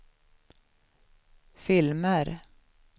filmer